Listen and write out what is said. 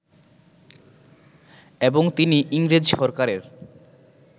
এবং তিনি ইংরেজ সরকারের